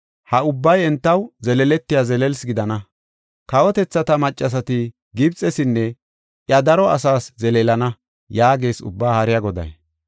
Ha ubbay entaw zeleeletiya zelelsi gidana. Kawotethata maccasati Gibxesinne iya daro asaas zeleelana” yaagees Ubbaa Haariya Goday.